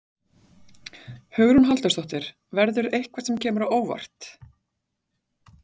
Hugrún Halldórsdóttir: Verður eitthvað sem kemur á óvart?